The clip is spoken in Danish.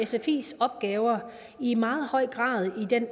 sfis opgaver i meget høj grad i den